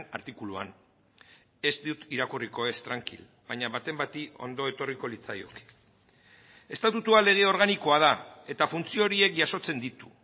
artikuluan ez dut irakurriko ez trankil baina baten bati ondo etorriko litzaioke estatutua lege organikoa da eta funtzio horiek jasotzen ditu